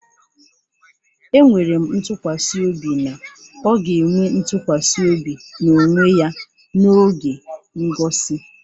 Enwere m ntụkwasị obi na ọ ga-enwe ntụkwasị obi na onwe ya n'oge ngosi